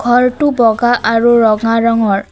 ঘৰটো বগা আৰু ৰঙা ৰঙৰ।